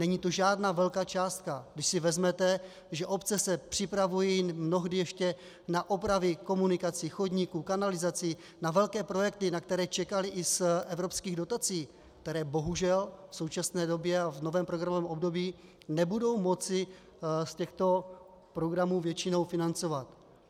Není to žádná velká částka, když si vezmete, že obce se připravují mnohdy ještě na opravy komunikací, chodníků, kanalizací, na velké projekty, na které čekaly i z evropských dotací - které bohužel v současné době a v novém programovém období nebudou moci z těchto programů většinou financovat.